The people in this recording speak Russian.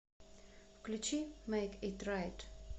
включи мэйк ит райт